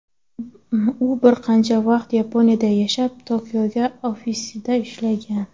U bir qancha vaqt Yaponiyada yashab, Toyota ofisida ishlagan.